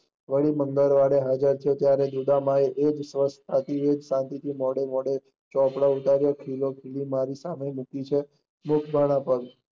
વળી મંગળવરે હાજર થયા એ જ શાંતિ થી મોડો મોડો ખીલી મારી છે એજ ઘડી પણ